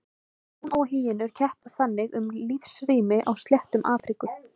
Ljón og hýenur keppa þannig um lífsrými á sléttum Afríku.